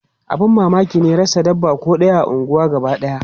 Abun mamaki ne rasa dabba ko ɗaya a unguwar gabadaya.